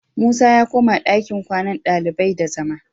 Musa ya koma dakin kwannan ɗalibai da zama